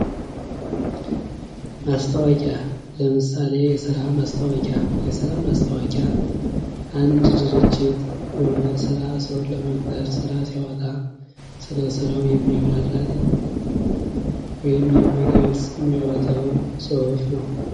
ማስታወቂያ ለምሳሌ የስራ ማስታወቂያ። የስራ ማስታወቂያ አንድ ድርጅት የሆነ ስራ ሰውን ለመቅጠር ስራ ሲያወጣ ስለ ስራው የሚያብራራልን ወይንም የሚገልፅ የሚያወጣው ፅሁፍ ነው።